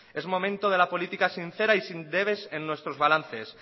es momento de la política sincera y sin debes en nuestros balances